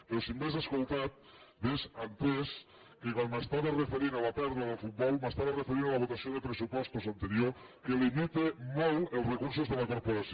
però si m’hagués escoltat hauria entès que quan m’estava referint a la pèrdua del futbol m’estava referint a la votació de pressupostos anterior que limita molt els recursos de la corporació